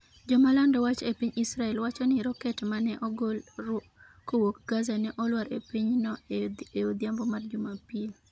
Joma lando wach e piny Israel wacho ni roket ma ne ogol kowuok Gaza ne olwar e pinyno e odhiambo mar jumapil.